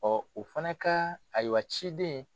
o fana ka ayiwa ciden.